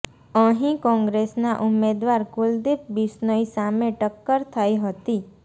અહીં કોંગ્રેસના ઉમેદવાર કુલદીપ બિશ્નોઈ સામે ટક્કર થઈ હતી